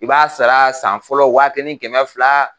I b'a sara san fɔlɔ waa kelen ni kɛmɛ fila